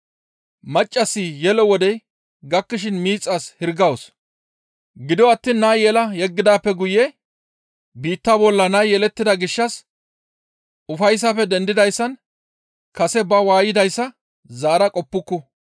Maccassi yelo wodey gakkishin miixas hirgawus; gido attiin naa yela yeggidaappe guye biitta bolla nay yelettida gishshas ufayssafe dendidayssan kase ba waaydayssa zaara qoppuku.